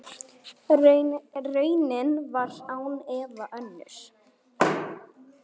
Raunin var án efa önnur.